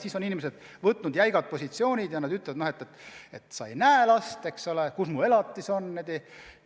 Siis on võetud jäigad positsioonid ja teine pooltest ütleb, et sa ei näe last – kus mu elatis on?!